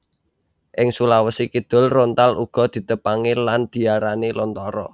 Ing Sulawesi Kidul rontal uga ditepangi lan diarani lontara